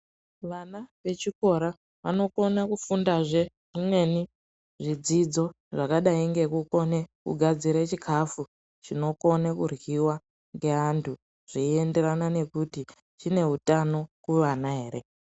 Vana vechikora vanokone kufundazve zvimweni zvidzidzo ,zvakadai ngekukone kugadzire chikhafu chinokone kuryiwa ngeantu, zveienderana nekuti chine utano kuvana ere.